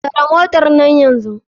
Tare motarnan nan yanzu.